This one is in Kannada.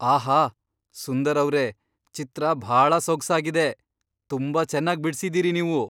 ಆಹಾ! ಸುಂದರ್ ಅವ್ರೇ, ಚಿತ್ರ ಭಾಳ ಸೊಗ್ಸಾಗಿದೆ! ತುಂಬಾ ಚೆನ್ನಾಗ್ ಬಿಡ್ಸಿದೀರಿ ನೀವು.